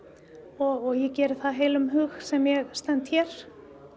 og ég geri það af heilum hug sem ég stend hér